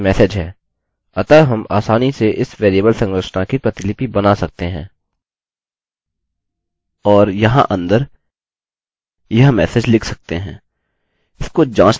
साथ ही हमारे पास message है अतः हम आसानी से इस वेरिएबल संरचना की प्रतिलिपि बना सकते हैं और यहाँ अंदर यह message लिख सकते हैं